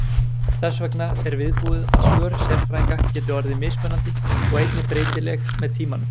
Þess vegna er viðbúið að svör sérfræðinga geti orðið mismunandi og einnig breytileg með tímanum.